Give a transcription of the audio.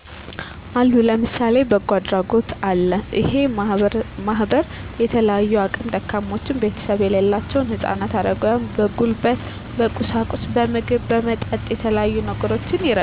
አሉ ለምሳሌ በጎ አድራጎት አለ እሄ ማህበር የተለያዩ አቅም ደካሞችና ቤተሰብ የሌላቸውን ህጻናት አረጋውያን በጉልበት በቁሳቁስ በምግብ በመጠጥ በተለያዩ ነገሮች ይረዳል